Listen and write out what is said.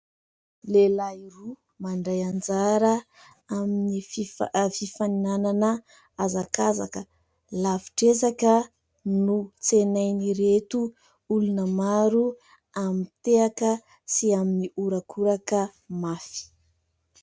Lehilahy roa mandray anjara amin'ny fifaninanana hazakazaka lavitr'ezaka no tsenain'ireto olona maro amin'ny tehaka sy amin'ny horakoraka mafy.